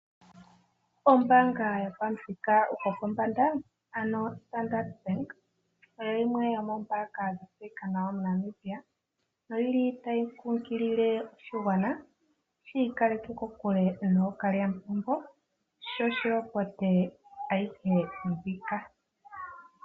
Ombanga yopamuthika gwopombanda oStandard bank oyo yimwe yomombanga dhatseyika nawa moNamibia noyili tayi kunkilile oshigwana shi ikaleke kokule nookaliyamupombo shoshi lopote ayihe mbika.